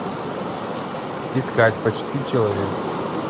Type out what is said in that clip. искать почти человек